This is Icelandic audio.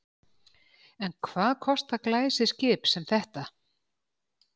En hvað kostar glæsiskip sem þetta?